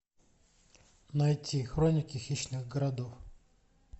найти хроники хищных городов